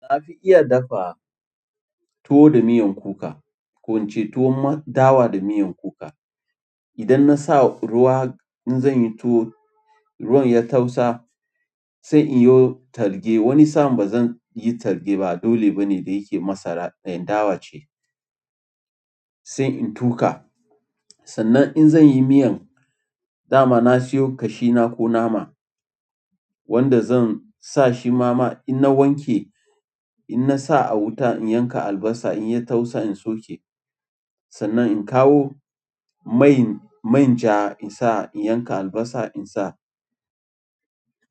Na fi iya dafa tuwo da miyan kuka, ko in ce tuwon dawa da miyan kuka. Idan na sa ruwa in zan yi tuwo, ruwan ya tausa sai in yi talge. Wani sa'an ba zan yi talge ba, dole bane da yake masara, na yin dawa ce sai in tuƙa. Sannan in zan yi miyan, dama na siyo ƙashina ko nama wanda zan sa shi mama. In na wanke, in na sa a wuraa in yanka albasa in ya tausa in soƙe. Sannan in kawo man ja in sa in yanka albasa in sa.